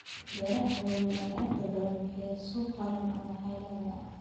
Beeraha waaweyn ayaa inta badan bixiya suuq qaran ama caalami ah.